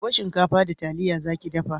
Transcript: Gobe shinkafa da taliya za ki dafa?